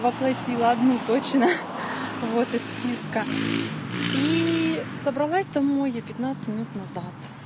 воплотила одну точно вот из списка и собралась домой я пятнадцать минут назад